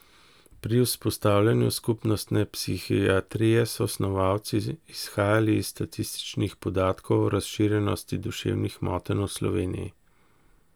Pri vzpostavljanju skupnostne psihiatrije so snovalci izhajali iz statističnih podatkov o razširjenosti duševnih motenj v Sloveniji.